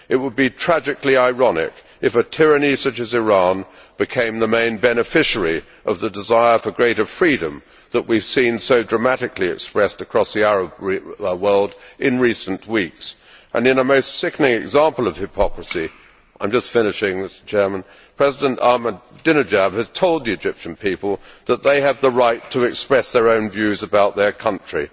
It would be tragically ironic if a tyranny such as Iran became the main beneficiary of the desire for greater freedom that we have seen so dramatically expressed across the Arab world in recent weeks and in a most sickening example of hypocrisy I am just finishing Mr President President Ahmadinejad has told the Egyptian people that they have the right to express their own views about their country.